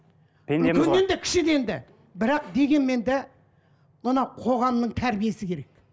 кішіден де бірақ дегенмен де мынау қоғамның тәрбиесі керек